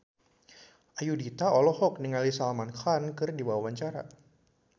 Ayudhita olohok ningali Salman Khan keur diwawancara